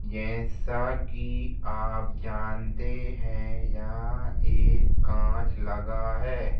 जैसा कि आप जानते है याह एक काँच लगा है।